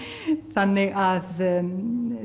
þannig að